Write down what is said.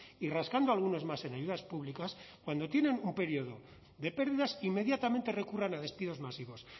y rascando algunos más en ayudas públicas cuando tienen un periodo de pérdidas inmediatamente recurran a despidos masivos